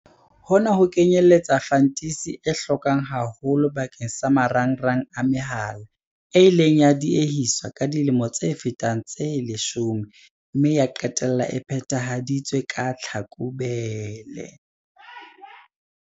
Hona ho kenyeletsa fantisi e hlokwang haholo bakeng sa marangrang a mehala, e ileng ya diehiswa ka dilemo tse fetang tse leshome mme ya qetella e phethahaditswe ka Tlhakubele.